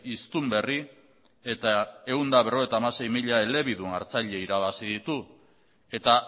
hiztun berri eta ehun eta berrogeita hamasei mila elebidun hartzaile irabazi ditu eta